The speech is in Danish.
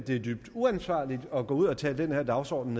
det er dybt uansvarligt at gå ud og tale den her dagsorden